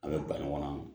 An bɛ ba ɲɔgɔn na